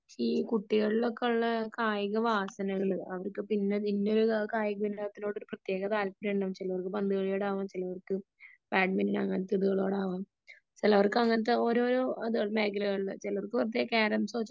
ഈ കുട്ടികളിലൊക്കെ ഉള്ള കായിക വാസനകള് അവർക്ക് ഇപ്പം ഇന്ന ഒരു കായിക വിനോദത്തിനോട് ഒരു പ്രത്യേക താല്പര്യം ഉണ്ടാകും . ചിലർക്ക് പന്തുകളിയോടാകും ചിലർക്ക് ബാഡ്മിൻറൺ അങ്ങനെ ഉള്ളതിനോടാകും ചിലവർക്ക് അങ്ങനത്തെ ഓരോരോ മേഖലകളില് ചിലർക്ക് മറ്റേ കാരെമസോ ചെസ്സോ